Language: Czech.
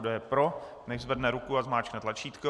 Kdo je pro, nechť zvedne ruku a zmáčkne tlačítko.